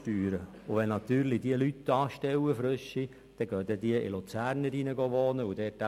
Stellt diese Firma neue Leute ein, werden diese aufgrund der tieferen Steuern im Kanton Luzern wohnen.